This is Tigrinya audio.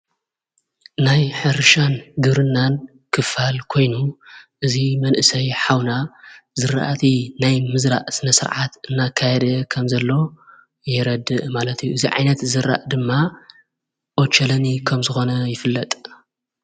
ናይ ሕርሻን ግብርናን ክፋል ኮይኑ እዙይ መንእሰይ ኃውና ዘረእቲ ናይ ምዘራእ ስነ ሥርዓት እናካይድ ኸም ዘሎ የረድእ ማለት እዩ። እዚ ዓይነት ዝራእ ድማ ኦቸለኒ ከም ዝኾነ ይፍለጥ።